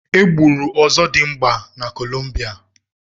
E gburu ọzọdimgba na Columbia.